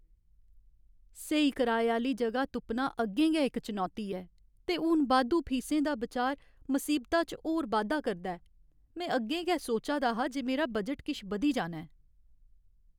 स्हेई कराए आह्‌ली जगह तुप्पना अग्गें गै इक चुनौती ऐ, ते हून बाद्धू फीसें दा बिचार मसीबता च होर बाद्धा करदा ऐ। में अग्गें गै सोचा दा हा जे मेरा बजट किश बधी जाना ऐ।